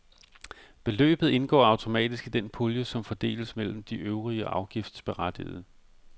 Beløbet indgår automatisk i den pulje, som fordeles mellem de øvrige afgiftsberettigede.